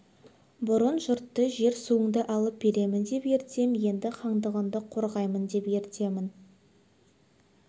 бұрын жұртты жер-суыңды алып беремін деп ертсем енді хандығыңды қорғаймын деп ертемін